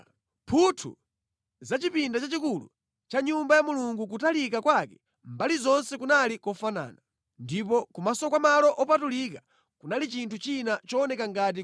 Mphuthu za chipinda chachikulu cha Nyumba ya Mulungu kutalika kwake mbali zonse kunali kofanana. Ndipo kumaso kwa malo opatulika kunali chinthu china chooneka ngati